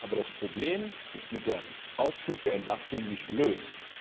Aber das Problem ist mit dem Aufschub der Entlastung nicht gelöst.